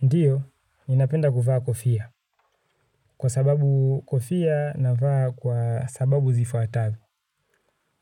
Ndiyo, ninapenda kuvaa kofia. Kwa sababu kofia na vaa kwa sababu zifuatavyo.